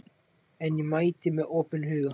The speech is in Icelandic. En ég mæti með opinn huga